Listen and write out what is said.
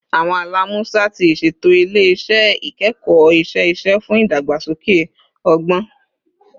Awọn ala Musa ti iṣeto ile-iṣẹ ikẹkọ iṣẹ-ṣiṣe fun idagbasoke ọgbọn